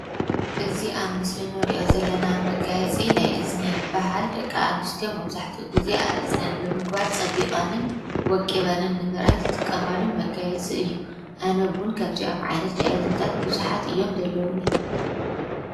እዙ ኣብ ምስሊ ንርእዮ ዘለና ብ መጋይጺ ናይ እዝኒ ይበሃል። ደቂ ኣንስትዮ መብዛሕቲኡ ጊዜ ኣብእዝነን ብምግባር ፀቢቐንን ወቂበንን ንምርኣይ ዝጥቀማሉ መጋየጽ እዩ ኣነ እውን ከምዙይ ኣብ ዓይነት ናይ እዝንታት ብዙሓት እዮም ዘለዉኒ።